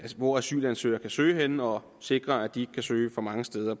hvor asylansøgere kan søge henne og sikre at de kan søge for mange steder